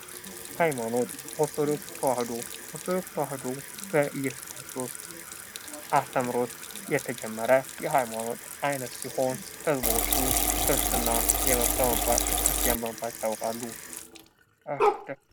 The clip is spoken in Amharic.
ሃይማኖት ኦርቶዶክስ ተዋህዶ ኦርቶዶክስ ተዋህዶ በእየሱስ ክርስቶስ አስተምሮት የተጀመረ የሃይማኖት አይነት ሲሆን ሰዎቹ ክርስቲያን በመባል ይታወቃሉ።